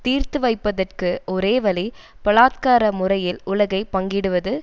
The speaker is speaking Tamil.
தீர்த்து வைப்பதற்கு ஒரே வழி பலாத்கார முறையில் உலகை பங்கிடுவது